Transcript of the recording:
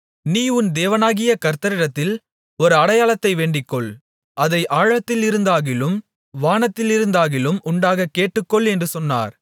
நீ உன் தேவனாகிய கர்த்தரிடத்தில் ஒரு அடையாளத்தை வேண்டிக்கொள் அதை ஆழத்திலிருந்தாகிலும் வானத்திலிருந்தாகிலும் உண்டாகக் கேட்டுக்கொள் என்று சொன்னார்